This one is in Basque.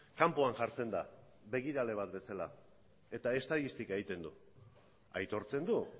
kanpoan jartzen da begirale bat bezala eta estatistika egiten du aitortzen du